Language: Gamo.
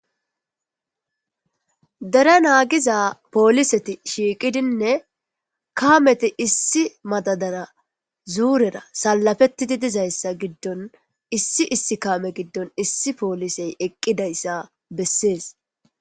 dera naagiza pooliseti shiiqidinne kaameti issi madadara zuurera salafettidi dizayssa giddon issi issi kaame giddon issi poolisey eqqidayssa bessees